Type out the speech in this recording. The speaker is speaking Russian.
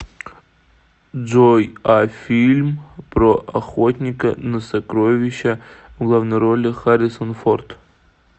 джой а фильм про охотника на сокровища в главной роли харрисон форд